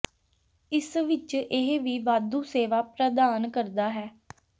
ਇਸ ਵਿਚ ਇਹ ਵੀ ਵਾਧੂ ਸੇਵਾ ਪ੍ਰਦਾਨ ਕਰਦਾ ਹੈ